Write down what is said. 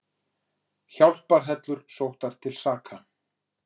Hjálparhellur sóttar til saka